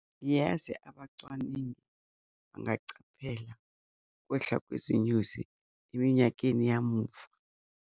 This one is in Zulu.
Yazi abacwaningi bangacaphela kwehla kwezinyosi eminyakeni yamuva.